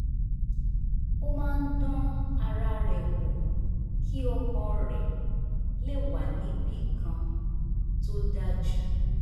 ó máa ń dán ara rẹ̀ wò kí ọkàn rẹ̀ le wà níbì kan tó dájú